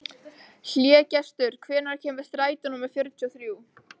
Hlégestur, hvenær kemur strætó númer fjörutíu og þrjú?